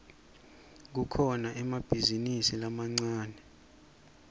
kukhona emabhizinisi lamancane